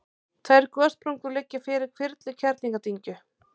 tvær gossprungur liggja yfir hvirfil kerlingardyngju